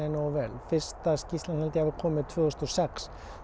nógu vel fyrsta skýrslan kom tvö þúsund og sex